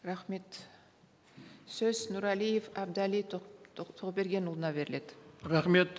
рахмет сөз нұрәлиев әбдәлі тоқбергенұлына беріледі рахмет